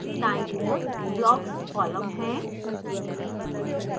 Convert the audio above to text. दाईं ओर blocks column है